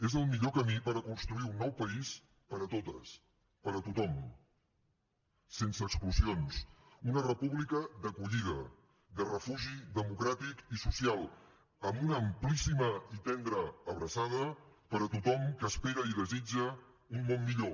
és el millor camí per construir un nou país per a totes per a tothom sense exclusions una república d’acollida de refugi democràtic i social amb una amplíssima i tendra abraçada per a tothom que espera i desitja un món millor